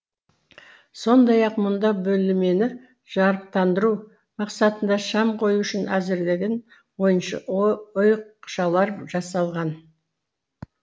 сондай ақ мұнда бөлмені жарықтандыру мақсатында шам қою үшін әзірленген ойықшалар жасалған